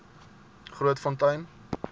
grootfontein